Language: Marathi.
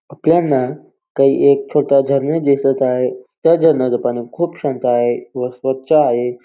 आपल्यांना काही एक छोटा झरणा दिसत आहे त्या झरण्याच पाणी खूप शांत आहे व खूप स्वच्छ आहे.